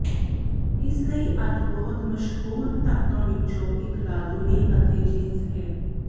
ਇਸ ਲਈ ਅੱਜ ਬਹੁਤ ਮਸ਼ਹੂਰ ਧਾਕਾਂ ਵਿੱਚੋਂ ਇੱਕ ਲਾਜ਼ੂਨੀ ਅਤੇ ਜੀਨਸ ਹੈ